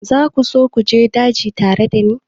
Za ku so ku je daji tare da ni?